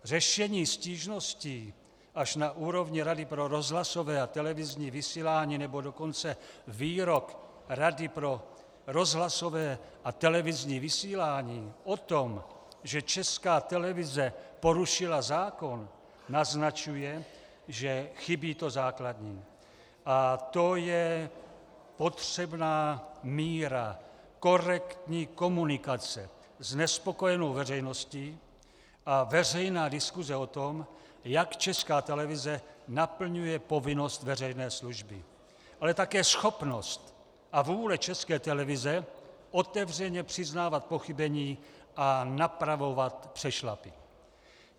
Řešení stížností až na úrovni Rady pro rozhlasové a televizní vysílání, nebo dokonce výrok Rady pro rozhlasové a televizní vysílání o tom, že Česká televize porušila zákon, naznačuje, že chybí to základní, a to je potřebná míra korektní komunikace s nespokojenou veřejností a veřejná diskuse o tom, jak Česká televize naplňuje povinnost veřejné služby, ale také schopnost a vůle České televize otevřeně přiznávat pochybení a napravovat přešlapy.